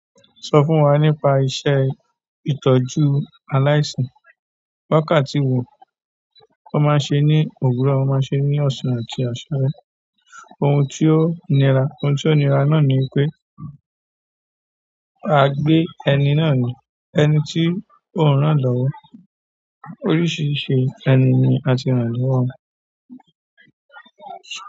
Sọ fún wa nípa iṣẹ́ ìtọ́jú aláìsàn wákàtí wo wọ́n má n ṣe ní òwúrọ̀, wọ́n má ṣe ní ọ̀sán àti àṣalẹ. Ohun tí ó nira, ohun tí ó nira náà ni pé à gbé ẹni náà ni, ẹni tí òun rán lọ́wọ́. Oríṣìíríṣìí ẹni ni à tí rán lọ́wọ́.